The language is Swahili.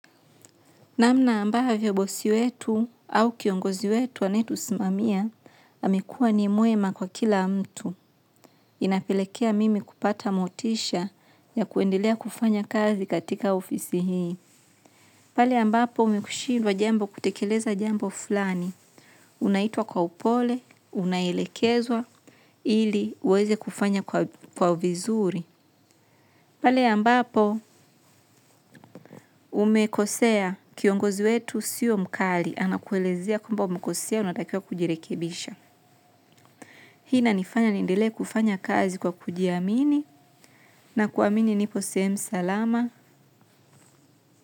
Namna ambavyo bosi wetu au kiongozi wetu aneye tusimamia, amekuwa ni mwema kwa kila mtu. Inapelekea mimi kupata motisha ya kuendelea kufanya kazi katika ofisi hii. Pale ambapo umekushidwa jembo kutekeleza jambo fulani. Unaitwa kwa upole unaelekezwa ili uweze kufanya kwa vizuri. Pale ambapo umekosea kiongozi wetu siyo mkali. Anakuelezea kwamba umekosea unatakia kujirekebisha. Hii na nifanya niendele kufanya kazi kwa kujiamini na kuamini nipo sehemu salama.